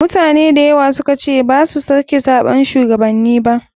Mutane dayawa sukace basu suke zaɓan shuwagabanni ba.